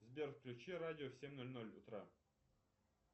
сбер включи радио в семь ноль ноль утра